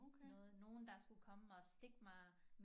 Noget nogen der skulle komme og stikke mig